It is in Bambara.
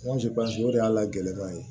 o de y'a gɛlɛnman ye